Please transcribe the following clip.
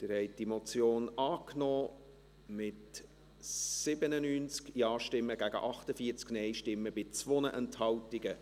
Sie haben diese Motion angenommen, mit 97 Ja- gegen 48 Nein-Stimmen bei 2 Enthaltungen.